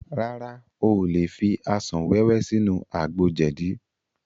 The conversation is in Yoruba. Rárá, o ò lè fi asàn wẹ́wẹ́ sínú àgbo jẹ̀dí